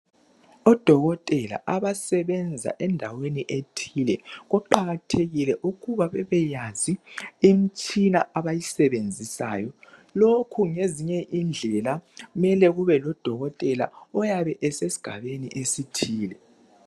Odokotela abasebenza endaweni ethile kuqakathekile ukuba babeyazi imitshina abayisebenzisayo lokho ngezinye indlela mele kube ngudokotela oyabe esesigabeni esithile